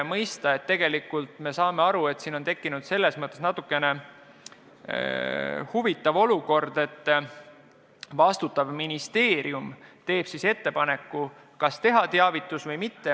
Me saame aru, et on tekkinud selles mõttes huvitav olukord, et vastutav ministeerium teeb ettepaneku, kas teha teavitus või mitte.